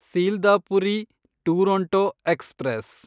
Sealdah Puri Duronto express